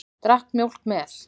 Drakk mjólk með.